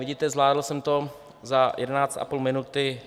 Vidíte, zvládl jsem to za jedenáct a půl minuty.